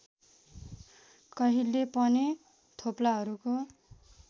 कहिल्यै पनि थोप्लाहरूको